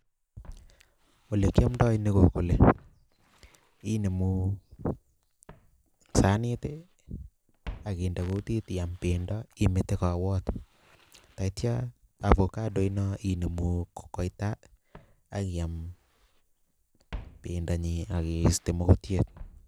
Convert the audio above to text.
ole kiomdoi ni kole inemu sanit akinde kotit iam bendo amete kowot taitya, avokaino inemu koita akiam bendonyin akiiste mukutiet